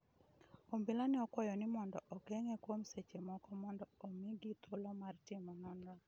obila ne okuayo ni mondo ogeng'e kuom seche moko mondo omigi thuolo mar timo nonro